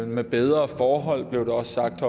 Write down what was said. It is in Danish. med bedre forhold blev der også sagt